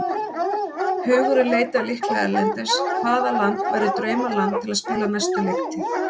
Hugurinn leitar líklega erlendis, hvaða land væri draumaland til að spila næstu leiktíð?